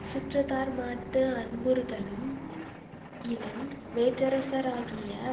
சுற்றத்தார்மாட்டு அன்புறுதலும் இலன் வேற்றரசராகிய